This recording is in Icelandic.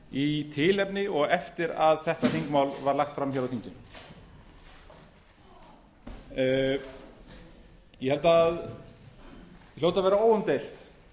í tilefni og eftir að þetta þingmál var lagt fram á þinginu ég held að það hljóti að vera óumdeilt